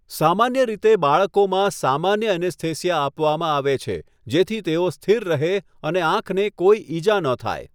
સામાન્ય રીતે, બાળકોમાં સામાન્ય એનેસ્થેસિયા આપવામાં આવે છે જેથી તેઓ સ્થિર રહે અને આંખને કોઈ ઈજા ન થાય.